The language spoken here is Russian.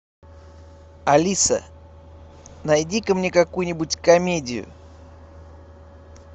алиса найди ка мне какую нибудь комедию